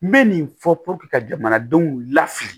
N bɛ nin fɔ ka jamanadenw lafili